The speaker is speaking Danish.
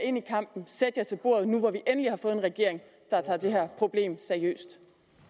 ind i kampen og sætte sig ved bordet nu når vi endelig har fået en regering der tager det her problem seriøst